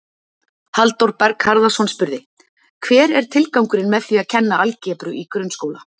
Halldór Berg Harðarson spurði: Hver er tilgangurinn með því að kenna algebru í grunnskóla?